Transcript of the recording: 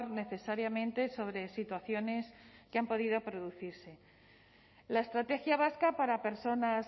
necesariamente sobre situaciones que han podido producirse la estrategia vasca para personas